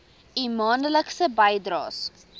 u maandelikse bydraes